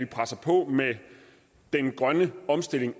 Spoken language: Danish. presser på med den grønne omstilling